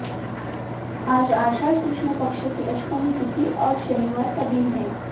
आज आषाढ़ कृष्ण पक्ष की अष्टमी तिथि और शनिवार का दिन है